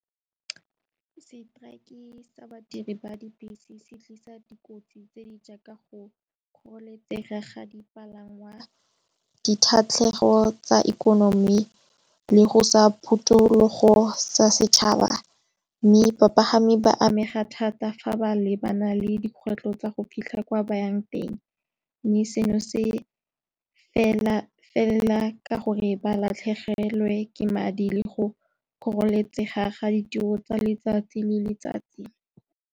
Strike sa badiri ba dibese se tlisa dikotsi tse di jaaka go kgololesego ga dipalangwa. Ditatlhegelo tsa ikonomi le go sa phutulogo sa setšhaba mme bapagami ba amega thata fa ba lebana le dikgwetlho tsa go fitlha kwa bayang teng, mme seno se fela fela ka gore ba latlhegelwe ke madi le go kgoreletsi pega ga ditiro tsa letsatsi le letsatsi.